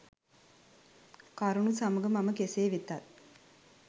කරුණු සමග මම කෙසේ වෙතත්